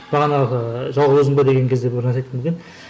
бағанағы жалғыз өзің бе деген кезде бір нәрсе айтқым келген